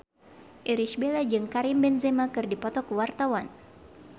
Irish Bella jeung Karim Benzema keur dipoto ku wartawan